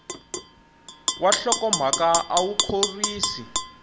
wa nhlokomhaka a wu khorwisi